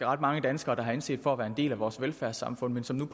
ret mange danskere der har anset for at være en del af vores velfærdssamfund men som